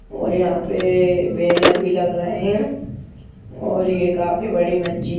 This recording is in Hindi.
और यहां पे बैनर भी लग रहा है और ये काफी बड़ी मजिद--